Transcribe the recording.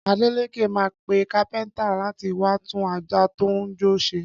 Adélékè máa pe kápẹ́ntà láti wá tún àjà tó ń jò ṣe